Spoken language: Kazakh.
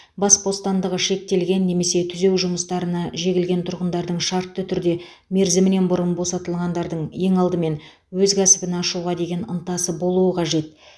бас бостандығы шектелген немесе түзеу жұмыстарына жегілген тұрғындардың шартты түрде мерзімінен бұрын босатылғандардың ең алдымен өз кәсібін ашуға деген ынтасы болуы қажет